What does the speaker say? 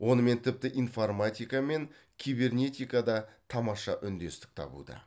онымен тіпті информатика мен кибернетика да тамаша үндестік табуда